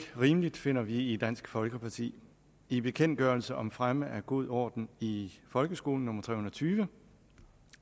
rimeligt finder vi i dansk folkeparti i bekendtgørelse om fremme af god orden i folkeskolen nummer tre hundrede og tyve